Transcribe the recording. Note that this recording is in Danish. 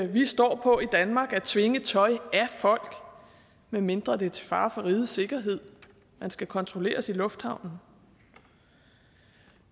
vi står for i danmark at tvinge tøj af folk medmindre det er til fare for rigets sikkerhed man skal kontrolleres i lufthavnen